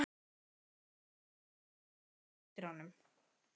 Var hún virkilega að jarma á eftir honum?